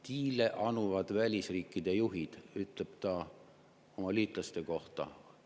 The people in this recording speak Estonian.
"Diile anuvad välisriikide juhid," ütleb ta oma liitlaste kohta.